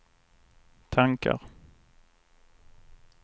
tankar